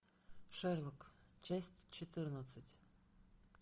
шерлок часть четырнадцать